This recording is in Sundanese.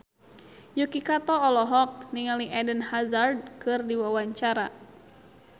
Yuki Kato olohok ningali Eden Hazard keur diwawancara